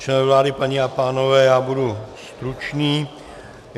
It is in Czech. Členové vlády, paní a pánové, já budu stručný.